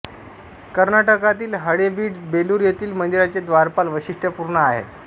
कर्नाटकातील हळेबीड बेलूर येथील मंदिरांचे द्वारपाल वैशिष्ट्य पूर्ण आहेत